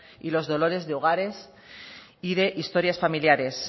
y los dolores de hogares y de historias familiares